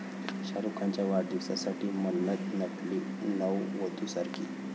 शाहरूख खानच्या वाढदिवसासाठी 'मन्नत' नटली नववधूसारखी!